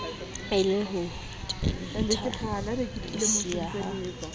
e le ho fenethalesea ha